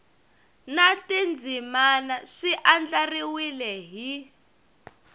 na tindzimana swi andlariwile hi